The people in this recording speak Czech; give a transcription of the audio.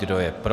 Kdo je pro?